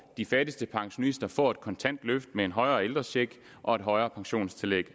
de fattigste pensionister får et kontant løft med en højere ældrecheck og et højere pensionstillæg